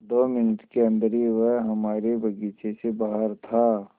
दो मिनट के अन्दर ही वह हमारे बगीचे से बाहर था